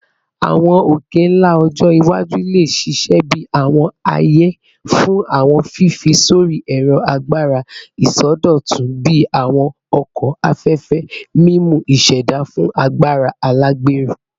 Awọn oke-nla ọjọ iwaju le ṣiṣẹ bi awọn aaye fun awọn fifi sori ẹrọ agbara isọdọtun bii awọn oko afẹfẹ, mimu iseda fun agbara alagbero